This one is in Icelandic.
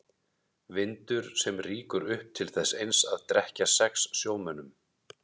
Vindur sem rýkur upp til þess eins að drekkja sex sjómönnum.